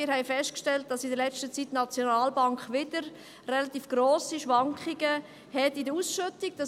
Wir haben festgestellt, dass die SNB in letzter Zeit wieder relativ grosse Schwankungen in der Ausschüttung hat.